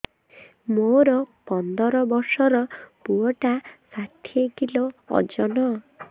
ମୋର ପନ୍ଦର ଵର୍ଷର ପୁଅ ଟା ଷାଠିଏ କିଲୋ ଅଜନ